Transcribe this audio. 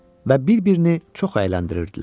və bir-birini çox əyləndirirdilər.